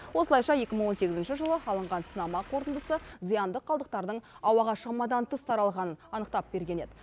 осылайша екі мың он сегізінші жылы алынған сынама қорытындысы зиянды қалдықтардың ауаға шамадан тыс таралғанын анықтап берген еді